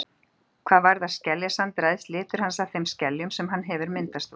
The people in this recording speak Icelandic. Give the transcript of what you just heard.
Hvað varðar skeljasand ræðst litur hans af þeim skeljum sem hann hefur myndast úr.